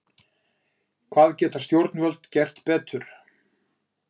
Hvað geta stjórnvöld gert betur?